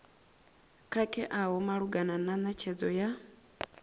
khakheaho malugana na netshedzo ya